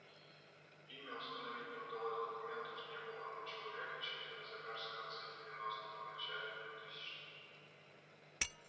имя установить не удалось документов не было но человек очевидно замёрз в конце девяностых начале двухтысячных